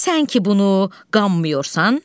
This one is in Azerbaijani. Sən ki bunu qanmıyorsun.